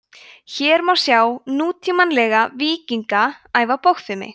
hér má sjá nútímalega „víkinga“ æfa bogfimi